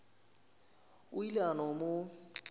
o ile a no mo